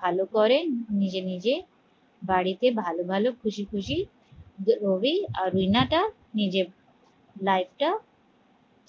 ভালো করে নিজে নিজে বাড়িতে ভালো ভালো খুশি খুশি রবি আর রিনা টা নিজে life টা